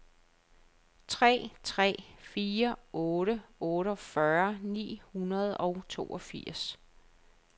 tre tre fire otte otteogfyrre ni hundrede og toogfirs